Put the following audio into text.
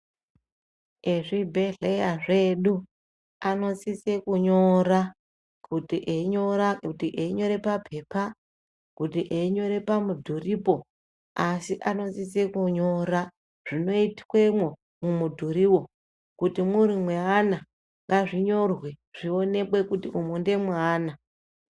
Ezvi bhedhleya zvedu anosise kunyora kuti enyora kuti einyora papepa kuti einyore pamudhuripo. Asi anosise kunyora zvinoi twemwo mumu dhuruwo kuti muri mweana ngazvinyorwe zvioneke kuti umunge meana.